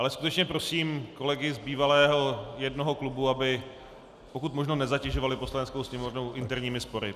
Ale skutečně prosím kolegy z bývalého jednoho klubu, aby pokud možno nezatěžovali Poslaneckou sněmovnu interními spory.